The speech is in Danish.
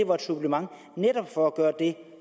var et supplement netop for at gøre det